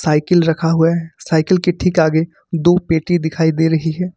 Cycle रखा हुआ है साइकिल के ठीक आगे दो पेटी दिखाई दे रही है।